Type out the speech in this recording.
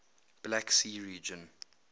black sea region